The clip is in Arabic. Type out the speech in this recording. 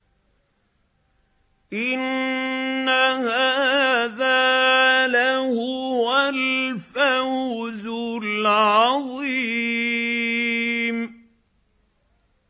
إِنَّ هَٰذَا لَهُوَ الْفَوْزُ الْعَظِيمُ